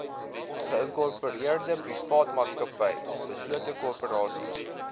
geïnkorpereerdeprivaatmaatsappy beslote korporasie